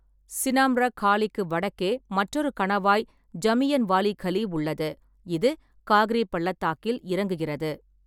சினாம்ரக் காலிக்கு வடக்கே மற்றொரு கணவாய் ஜமியன்வாலி கலி உள்ளது, இது காக்ரி பள்ளத்தாக்கில் இறங்குகிறது.